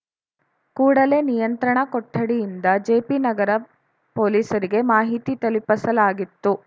ಕೂಡಲೇ ನಿಯಂತ್ರಣ ಕೊಠಡಿಯಿಂದ ಜೆಪಿನಗರ ಪೊಲೀಸರಿಗೆ ಮಾಹಿತಿ ತಲುಪಸಲಾಗಿತ್ತು